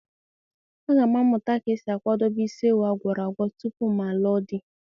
A ga m amụta ka esi akwadebe isi ewu a gwọrọ agwọ tupu m alụọ di.